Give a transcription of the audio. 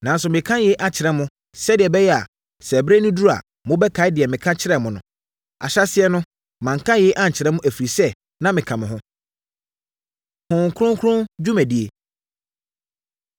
Nanso, mereka yei akyerɛ mo, sɛdeɛ ɛbɛyɛ a, sɛ ɛberɛ no duru a, mobɛkae deɛ meka kyerɛɛ mo no. Ahyɛaseɛ no, manka yei ankyerɛ mo, ɛfiri sɛ na meka mo ho.” Honhom Kronkron Dwumadie